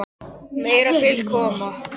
Meira til koma.